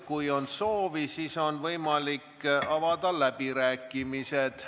Kui on soovi, siis nüüd on võimalik avada läbirääkimised.